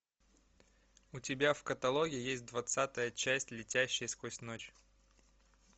у тебя в каталоге есть двадцатая часть летящий сквозь ночь